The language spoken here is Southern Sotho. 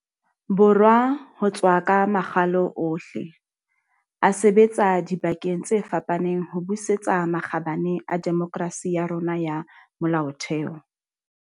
Borwa ho tswa ka makgalo ohle, a sebetsa dibakeng tse fapaneng ho busetsa makgabane a demokerasi ya rona ya molaotheo.